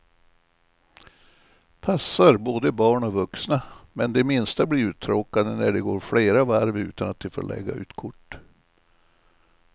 Passar både barn och vuxna, men de minsta blir uttråkade när det går flera varv utan att de får lägga ut kort.